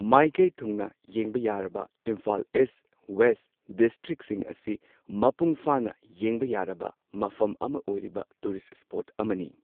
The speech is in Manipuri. ꯃꯥꯏꯀꯩ ꯊꯨꯡꯅ ꯌꯦꯡꯕ ꯌꯥꯔꯕ ꯏꯝꯐꯥꯜ ꯏꯁ ꯋꯦꯁ ꯗꯤꯁꯇ꯭ꯔꯤꯛꯁꯤꯡ ꯑꯁꯤ ꯃꯄꯨꯡꯐꯥꯅ ꯌꯦꯡꯕ ꯌꯥꯔꯕ ꯃꯐꯝ ꯑꯃ ꯑꯣꯏꯔꯤꯕ ꯇꯨꯔꯤꯁ ꯁ꯭ꯄꯣꯠ ꯑꯃꯅꯤ꯫